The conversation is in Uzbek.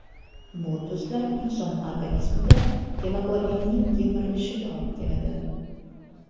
Bu tuzlar inson organizmida gemoglobinning yemirilishiga olib keladi.